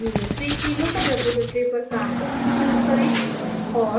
user3 की local repository पर काम करना शुरू करें और